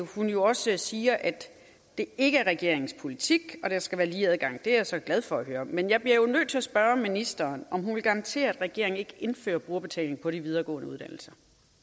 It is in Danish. hun jo også siger at det ikke er regeringens politik og at der skal være lige adgang det er jeg så glad for at høre men jeg bliver nødt til at spørge ministeren om hun vil garantere at regeringen ikke indfører brugerbetaling på de videregående uddannelser